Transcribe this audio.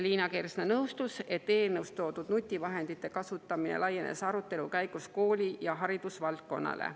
Liina Kersna nõustus, et eelnõus toodud nutivahendite kasutamine laienes arutelu käigus kooli‑ ja haridusvaldkonnale.